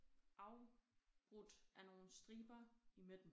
Afbrudt af nogle striber i midten